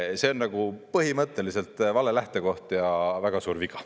See on põhimõtteliselt vale lähtekoht ja väga suur viga.